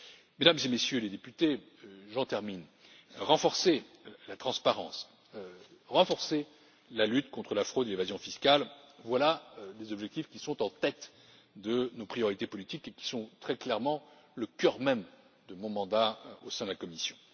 Mesdames et Messieurs les députés, j'en termine, renforcer la transparence, renforcer la lutte contre la fraude et l'évasion fiscale, voilà les objectifs qui sont en tête de nos priorités politiques et qui sont très clairement au cœur même de mon mandat au sein de la Commission.